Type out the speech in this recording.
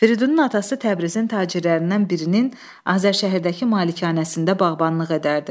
Firidunun atası Təbrizin tacirlərindən birinin Azərşəhərdəki malikanəsində bağbanlıq edərdi.